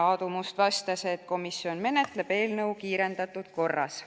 Aadu Must vastas, et komisjon menetleb eelnõu kiirendatud korras.